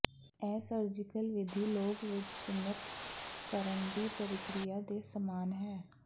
ਇਹ ਸਰਜੀਕਲ ਵਿਧੀ ਲੋਕ ਵਿਚ ਸੁੰਨਤ ਕਰਨ ਦੀ ਪ੍ਰਕਿਰਿਆ ਦੇ ਸਮਾਨ ਹੈ